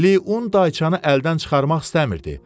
Liun dayçanı əldən çıxarmaq istəmirdi.